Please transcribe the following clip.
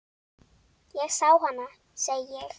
Ég sá hana, segi ég.